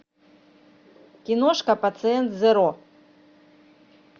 киношка пациент зеро